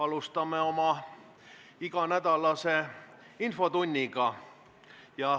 Alustame oma iganädalast infotundi.